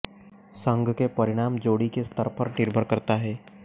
संघ के परिणाम जोड़ी के स्तर पर निर्भर करता है